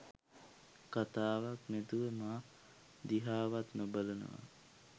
කතාවක් නැතුව මා දිහාවත් නොබලා